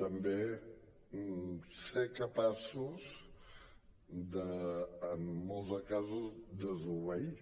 també ser capaços de en molts casos desobeir